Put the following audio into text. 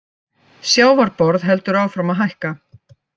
Sjávarborð heldur áfram að hækka